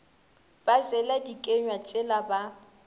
ba jela dikenywa tšela ba